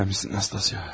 Sən misin, Nastasya?